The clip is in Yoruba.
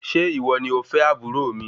Ṣe iwo ni ọfẹ aburo mi?